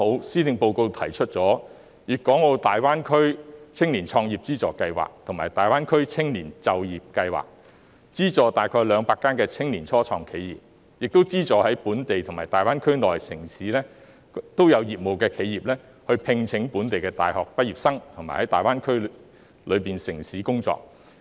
施政報告剛好提出粵港澳大灣區青年創業資助計劃和大灣區青年就業計劃，資助大約200間青年初創企業，並資助在本地和大灣區內的城市經營業務的企業，聘請本地大學畢業生在大灣區內的城市工作。